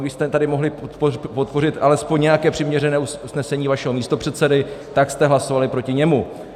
Když jste tady mohli podpořit alespoň nějaké přiměřené usnesení vašeho místopředsedy, tak jste hlasovali proti němu.